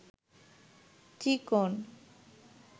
চিকন